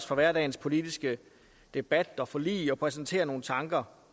fra hverdagens politiske debat og forlig og præsentere nogle tanker